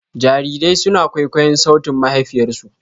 Jarirai suna kwaikwayon sautin mahaifiyarsu.